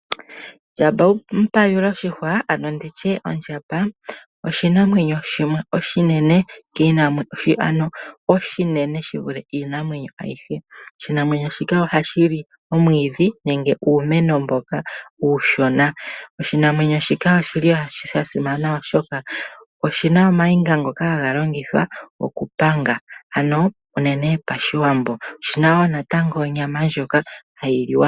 Ondjamba oshinanwenyo oshinene shi vule iinamwenyo ayihe. Oshinanwenyo shino ohashi li omwiidhi nenge uumeno mboka uushona. Osha simana oshoka oshina ooniga ndhoka hadhi longithwa okupanga Pashiwambo moshina onyama ndjoka hayi liwa.